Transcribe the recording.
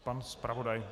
Pan zpravodaj.